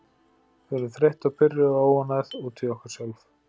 Við erum þreytt og pirruð og óánægð út í okkur sjálf.